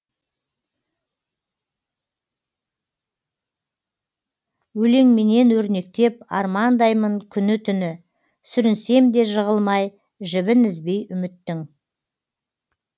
өлеңменен өрнектеп армандаймын күні түні сүрінсем де жығылмай жібін үзбей үміттің